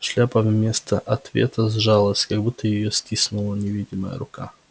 шляпа вместо ответа сжалась как будто её стиснула невидимая рука